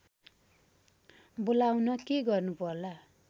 बोलाउन के गर्नु पर्ला